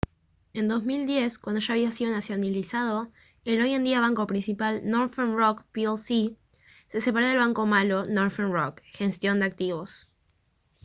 en 2010 cuando ya había sido nacionalizado el hoy en día banco principal northern rock plc se separó del «banco malo» northern rock gestión de activos